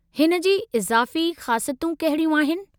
हिन जी इज़ाफ़ी ख़ासियतूं कहिड़ियूं आहिनि?